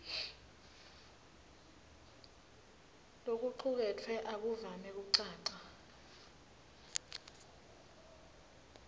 lokucuketfwe akuvami kucaca